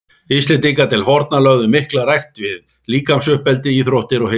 Íslendingar til forna lögðu mikla rækt við líkamsuppeldi, íþróttir og heilsuvernd.